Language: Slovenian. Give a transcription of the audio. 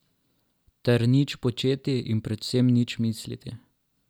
Ter nič početi in predvsem nič misliti.